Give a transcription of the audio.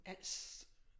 Als